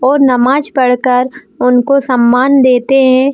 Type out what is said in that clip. और नमाज पढ़कर उनको सम्मान देते है।